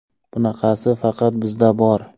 Bunaqasi faqat bizda bor.